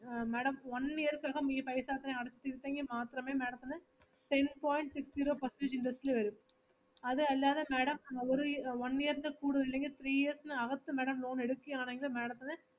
madam one year ക്കകം ഈ paisa അത്രേം അടച്ച് തീർത്തെങ്കി മാത്രമേ madam ത്തിന് ten point six zero percentage interest ല് വരൂ, അത് അല്ലാതെ madam ഒരു യ്~ one year ൻ്റെ കൂടുതൽ ഉണ്ടെങ്ങി three years നകത്തു madam loan എടുക്കുയാണെങ്കില് madam ത്തിന്